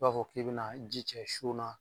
I b'a fɔ k'i bɛ bɛna ji cɛ so na